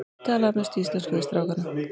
Ég tala að mestu íslensku við strákana.